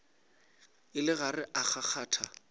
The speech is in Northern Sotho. e le gare e kgakgatha